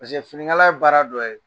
finiŋala ye baara dɔ ye